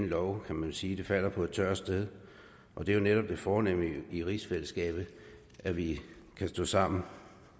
lov kan man sige falder på et tørt sted og det er jo netop det fornemme i rigsfællesskabet at vi kan stå sammen